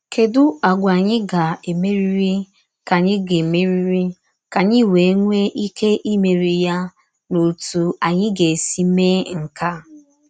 Kèdù àgwà ányị gà-èmèrìrì kà ányị gà-èmèrìrì kà ányị wéè nwè íké ìmèrí ya, na òtú ányị gà-èsí mèé nke a?